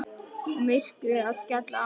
Og myrkrið að skella á.